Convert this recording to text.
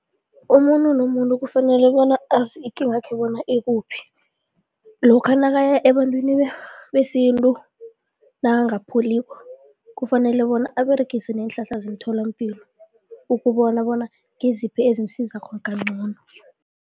Umuntu nomuntu kufanele bona azi ikingakhe bona ikuphi, lokha nakaya ebantwini besintu nakangapholiko, kufanele bona aberegise neenhlahla zemtholampilo ukubona bona ngiziphi ezimusizako kancono.